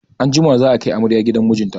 Anjima za a kai amarya gidan mijinta.